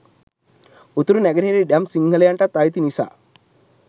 උතුරු නැගෙනහිර ඉඩම් සිංහලයන්ටත් අයිති නිසා.